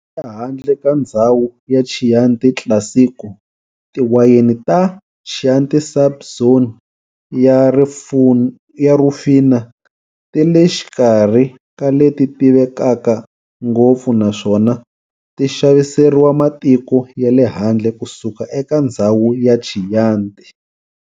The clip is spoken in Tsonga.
Ehandle ka ndzhawu ya Chianti Classico, tiwayeni ta Chianti sub-zone ya Rufina ti le xikarhi ka leti tivekaka ngopfu naswona ti xaviseriwa matiko yale handle kusuka eka ndzhawu ya Chianti.